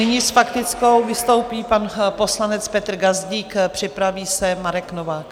Nyní s faktickou vystoupí pan poslanec Petr Gazdík, připraví se Marek Novák.